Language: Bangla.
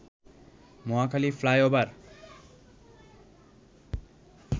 মহাখালী ফ্লাইওভার